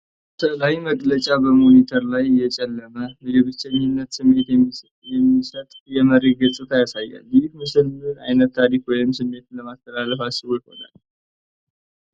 ስዕላዊ መግለጫ በሞኒተር ላይ የጨለመ፣ የብቸኝነት ስሜት የሚሰጥ የመሬት ገጽታን ያሳያል። ይህ ምስል ምን ዓይነት ታሪክ ወይም ስሜት ለማስተላለፍ አስቦ ይሆን?